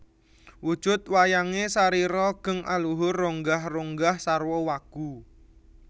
Wujud wayange sarira geng aluhur ronggah ronggah sarwa wagu